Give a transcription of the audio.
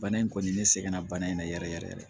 Bana in kɔni ne sɛgɛnna bana in na yɛrɛ yɛrɛ yɛrɛ